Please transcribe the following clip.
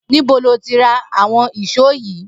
Nibó lò ti rà awọn ìṣó yi?